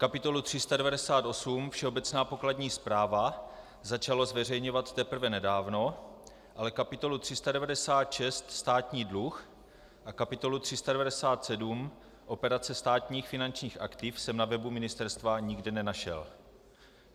Kapitolu 398 Všeobecná podkladní správa začalo zveřejňovat teprve nedávno, ale kapitolu 396 Státní dluh a kapitolu 397 Operace státních finančních aktiv jsem na webu ministerstva nikde nenašel.